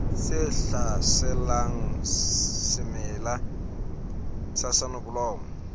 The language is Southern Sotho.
tse hlaselang semela sa soneblomo